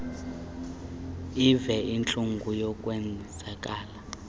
eve intlungu yokwenzakala